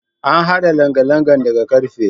An haɗa langalangan daga karfe.